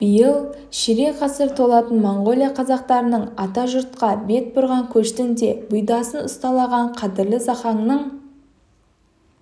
биыл ширек ғасыр толатын монғолия қазақтарының атажұртқа бет бұрған көштің де бұйдасын ұстаған қадірлі зақаңның